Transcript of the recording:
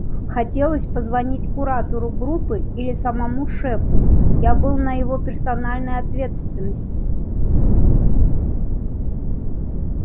хотелось позвонить куратору группы или самому шефу я был на его персональной ответственности